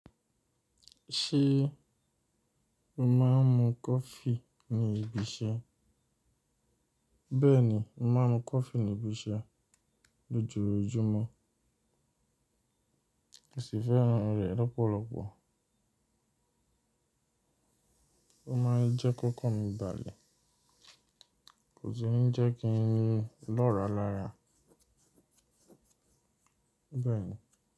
Ṣé o máa ń mu coffee ní ibi iṣẹ́? Bẹ́ẹ̀ni, mo máa ń mu coffee ní ibi iṣẹ́ lójoojúmọ́. Kí n sì fẹ́ràn rẹ̀ lọ́pọ̀lọpọ̀. Ó máa ń jẹ́ kíkàn mi dàle kò sì ní jẹ́ kí n yé lọ́ọ̀rọ̀ lára. Bẹ́ẹ̀ni.